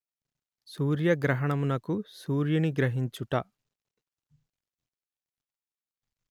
సూర్యగ్రహణమునకు సూర్యుని గ్రహించుట